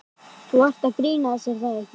Þú ert að grínast er það ekki?